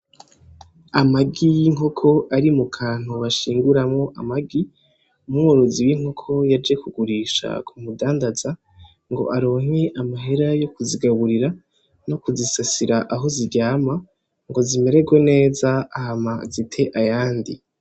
Amagi y'inkoko ari mukantu bashinguramwo amagi. Umworozi w'inkoko yaje kugurisha kumudandaza ngo aronke amahera yokuzigaburira no kuzisasira aho ziryama zimererwe neza hama zite ayandi.